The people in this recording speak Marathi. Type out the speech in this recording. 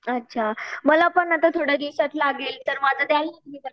अच्छा मला पण आता थोडं लागेल तर